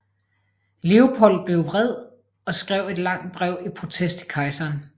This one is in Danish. Leopold blev vred og skrev et langt brev i protest til kejseren